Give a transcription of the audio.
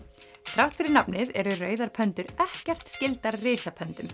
þrátt fyrir nafnið eru rauðar ekkert skyldar